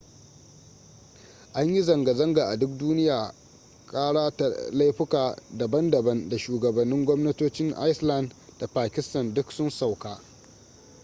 an yi zanga-zanga a duk duniya kara ta laifuka daban-daban da shugabannin gwamnatocin iceland da pakistan duk sun sauka